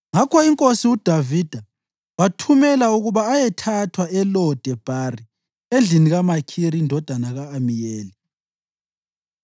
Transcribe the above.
Ngakho inkosi uDavida wathumela ukuba ayethathwa eLo-Debhari endlini kaMakhiri indodana ka-Amiyeli.